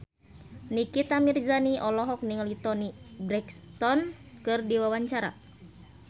Nikita Mirzani olohok ningali Toni Brexton keur diwawancara